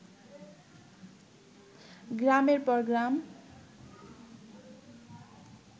গ্রামের পর গ্রাম